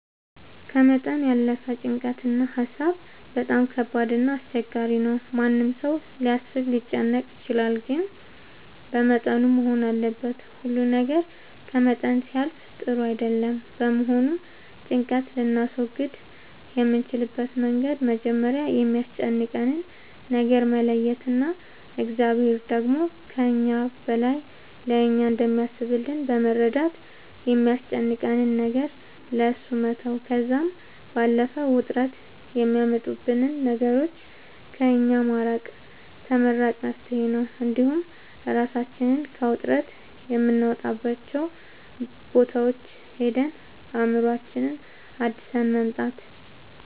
ከመጠን ያለፈ ጭንቀት እና ሀሳብ በጣም ከባድ እና አስቸጋሪ ነው ማንም ሰው ሊያስብ ሊጨነቅ ይችላል ግን በመጠኑ መሆን አለበት ሁሉ ነገር ከመጠን ሲያልፍ ጥሩ አይደለም በመሆኑም ጭንቀት ልናስወግድ የምንችልበት መንገድ መጀመሪያ የሚያስጨንቀንን ነገር መለየት እና እግዚአብሔር ደግሞ ከእኛ በላይ ለእኛ እንደሚያስብልን በመረዳት የሚያስጨንቀንን ነገር ለእሱ መተው ከዛም ባለፈ ውጥረት የሚያመጡብንን ነገሮች ከእኛ ማራቅ ተመራጭ መፍትሄ ነው እንዲሁም እራሳችንን ከውጥረት የምናወጣባቸው ቦታዎች ሄደን አእምሮአችንን አድሰን መምጣት